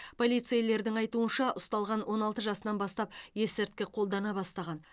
полицейлердің айтуынша ұсталған он алты жасынан бастап есірткі қолдана бастаған